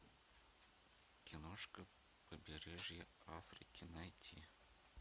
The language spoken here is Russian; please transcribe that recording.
киношка побережье африки найти